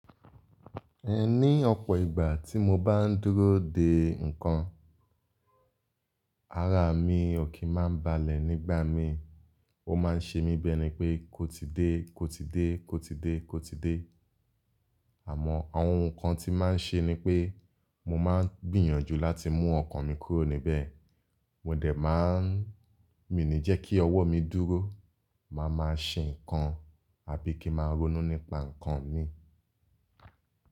Ẹ ní ọ̀pọ̀ ìgbà tí mo bá ń dúró dè nǹkan, ara mi ò kí máa ń balẹ̀ nígbà mi. Ó máa ń ṣe mí bi ẹ̀ni pé kó ti dé, kó ti dé, kó ti dé, kó ti dé. Àmọ́ àwọn nǹkan tí máa ń ṣe ni pé mo máa n gbìyànjú láti mú ọkàn mi kúrò níbẹ̀. Mo dẹ̀ máa ń, mi ní jẹ́ kí ọwọ́ mi dúró, màá máa ṣe nǹkan àbí kí máa ronú nípa nǹkan mi.